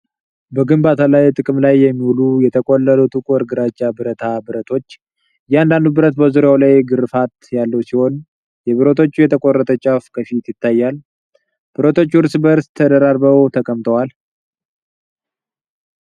በግንባታ ላይ ጥቅም ላይ የሚውሉ የተቆለሉ ጥቁር ግራጫ ብረት ብረቶች ። እያንዳንዱ ብረት በዙሪያው ላይ ግርፋት ያለው ሲሆን፣ የብረቶቹ የተቆረጠው ጫፍ ከፊት ይታያል። ብረቶቹ እርስ በርስ ተደራርበው ተቀምጠዋል።